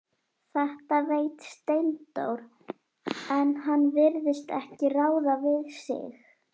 Þetta veit Steindór, en hann virðist ekki ráða við sig.